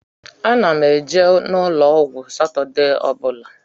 Ana m eje n'ụlọ ọgwụ Satọdee ọ bụla.